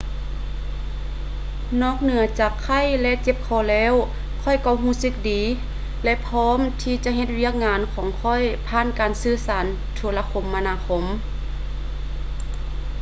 ນອກເໜືອຈາກໄຂ້ ແລະ ເຈັບຄໍແລ້ວ ຂ້ອຍກໍຮູ້ສຶກດີ ແລະ ພ້ອມທີ່ຈະເຮັດວຽກງານຂອງຂ້ອຍຜ່ານການສື່ສານໂທລະຄົມມະນາຄົມ